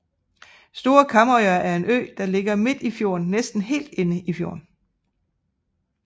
Store Kamøya er en ø som ligger midt i fjorden næsten helt inde i fjorden